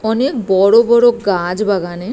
অনেক বড় বড় গাছ বাগানে।